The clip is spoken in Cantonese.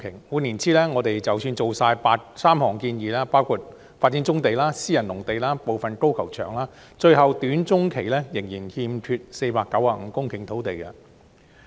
換言之，即使盡做3項建議，包括發展棕地、私人農地、部分高爾夫球場，短中期最終仍然欠缺495公頃土地。